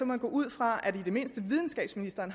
man gå ud fra at i det mindste videnskabsministeren